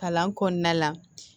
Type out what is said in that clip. Kalan kɔnɔna la